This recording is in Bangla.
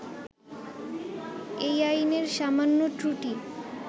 এই আইনের সামান্য ত্রুটি